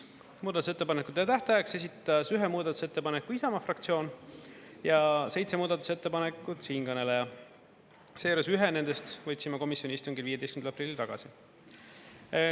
Muudatusettepanekute tähtajaks esitas ühe muudatusettepaneku Isamaa fraktsioon, seitse muudatusettepanekut siinkõneleja, seejuures ühe nendest võtsin ma komisjoni istungil 15. aprillil tagasi.